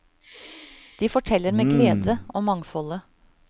De forteller med glede om mangfoldet.